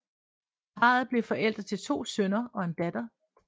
Parret blev forældre til to sønner og en datter